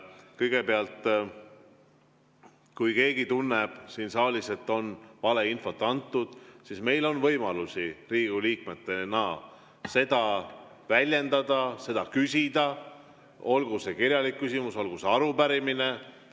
Kõigepealt, kui keegi tunneb siin saalis, et on valeinfot antud, siis meil on võimalusi Riigikogu liikmetena seda väljendada, seda küsida – olgu see kirjalik küsimus, olgu see arupärimine.